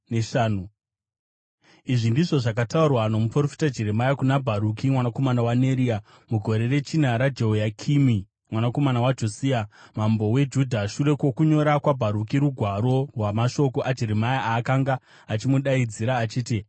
Izvi ndizvo zvakataurwa nomuprofita Jeremia kuna Bharuki mwanakomana waNeria, mugore rechina raJehoyakimi mwanakomana waJosia mambo weJudha, shure kwokunyora kwaBharuki rugwaro rwamashoko aJeremia aakanga achimudaidzira, achiti,